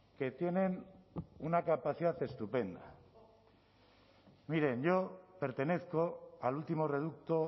que tienen una capacidad estupenda miren yo pertenezco al último reducto